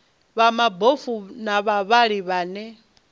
vha mabofu na vhavhali vhane